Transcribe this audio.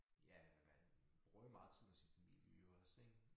Ja man bruger jo meget tid med sin familie jo også ik